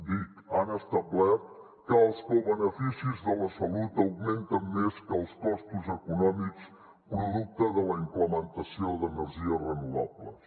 dic han establert que els cobeneficis de la salut augmenten més que els costos econòmics producte de la implementació d’energies renovables